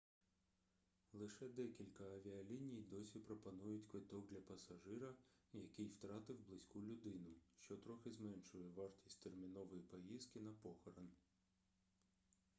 лише декілька авіаліній досі пропонують квиткок для пассажира який втратив близьку людину що трохи зменшує вартість термінової поїздки на похорон